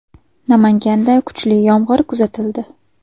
Namanganda kuchli yomg‘ir kuzatildi .